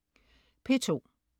P2: